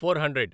four hundred